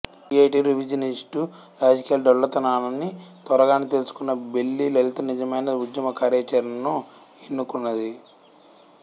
CITU revisionist రాజకీయాల డొల్లతనాన్ని త్వరగానే తెలుసుకున్న బెల్లి లలిత నిజమైన ఉద్యమ కార్యాచరణను ఎన్నుకున్నది